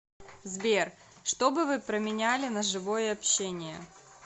сбер что бы вы променяли на живое общение